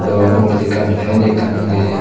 ban uguredi ekkan fen ekkan agey.